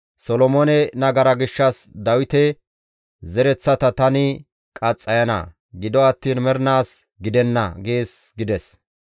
Solomoone nagara gishshas Dawite zereththata tani qaxxayana; gido attiin mernaas gidenna› gees» gides.